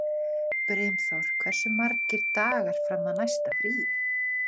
Brimþór, hversu margir dagar fram að næsta fríi?